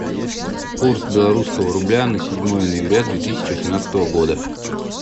курс белорусского рубля на седьмое ноября две тысячи восемнадцатого года